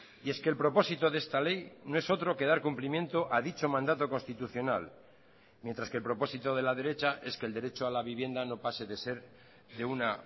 y es que el propósito de esta ley no es otro que dar cumplimiento a dicho mandato constitucional mientras que el propósito de la derecha es que el derecho a la vivienda no pase de ser de una